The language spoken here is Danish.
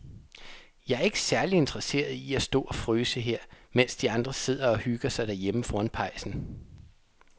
Jeg er ikke særlig interesseret i at stå og fryse her, mens de andre sidder og hygger sig derhjemme foran pejsen.